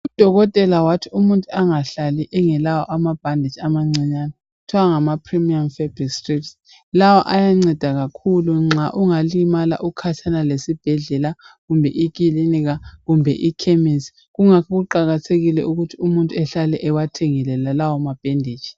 Udokotela wathi umuntu angahlali engelawo amabhaditshi amancinyane angama 'premium Fabric strips'. Lawa ayanceda kakhulu nxa ungalimala ukhatshana lesibhedlela kumbe ikilinika kumbe ikhemesi . Kungako kuqakathekile ukuthi umuntu ehlale ewathengile lawo mabheditshi.